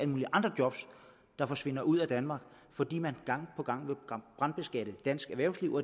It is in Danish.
mulige andre job der forsvinder ud af danmark fordi man gang på gang vil brandskatte dansk erhvervsliv